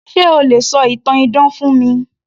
Se o lè ṣọ ìtàn idán fún mi